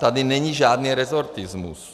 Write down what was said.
Tady není žádný rezortismus.